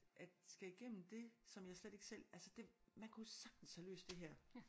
At skal igennem det som jeg slet ikke selv altså det man kunne sagtens have løst det her